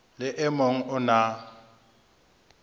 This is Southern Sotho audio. le e mong o na